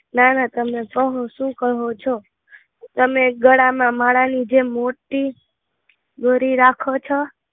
ના ના, તમને ઘણું શું કહો છો? તમે ગળા માં માલની જેમ મોટી દોરી રાખો છો?